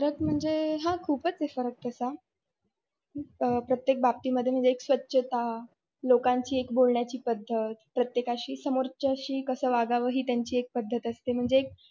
फरक म्हणजे हा खूपच आहे फरक तसा अ प्रत्येक बाबतीमध्ये म्हणजे एक स्वच्छता, लोकांची एक बोलण्याची पद्धत, प्रत्येकाशी समोरच्याशी कस वागाव हि त्यांची पद्धत एक असते म्हणजे एक.